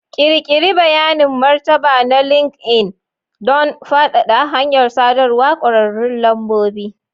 Ƙirƙiri bayanin martaba na LinkedIn don faɗaɗa hanyar sadarwar ƙwararrun lambobi.